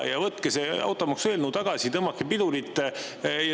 Võtke see automaksueelnõu tagasi, tõmmake pidurit.